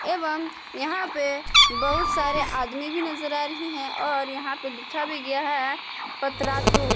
एवं यहां पे बहुत सारे आदमी भी नजर आ रही है और यहां पे लिखा भी गया है पत्रातू।